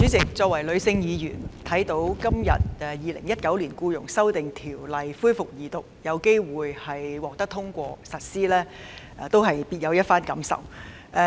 主席，我作為女性議員，看到《2019年僱傭條例草案》今天恢復二讀辯論，並有機會獲得通過及實施，實在別有一番感受。